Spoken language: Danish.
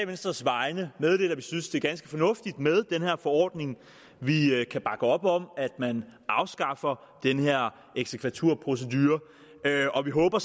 venstres vegne meddele at vi synes at det er ganske fornuftigt med den her forordning vi kan bakke op om at man afskaffer den her eksekvaturprocedure og vi håber